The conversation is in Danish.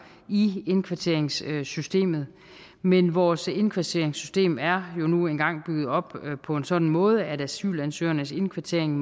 i indkvarteringssystemet men vores indkvarteringssystem er jo nu engang bygget op på en sådan måde at asylansøgernes indkvartering